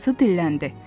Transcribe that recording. deyə anası dilləndi.